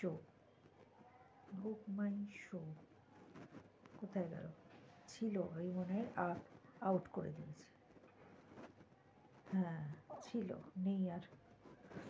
BookmyShow কোথায় গেলো ছিল আমি মনে হয় আউট করে দিয়েছি হ্যা ছিল নেই আর